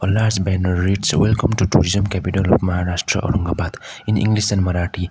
large banner reads welcome to tourism capital of maharastra aurangabad in english and marathi.